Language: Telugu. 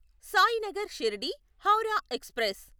సాయినగర్ షిర్డీ హౌరా ఎక్స్ప్రెస్